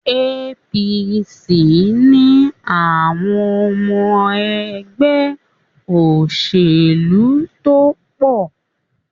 APC ni àwọn ọmọ ẹgbẹ́ òṣèlú tó pọ̀.